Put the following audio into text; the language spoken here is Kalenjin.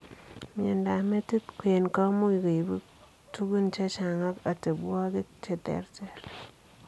Miondoop metiit kwen komuuch koibu tugun chechang ak atebwogik cheterter.